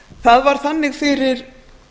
það var þannig fyrir